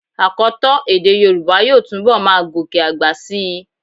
Àkọtọ́ èdè yorùbá yóò túnbọ̀ máa gòkè àgbà síi.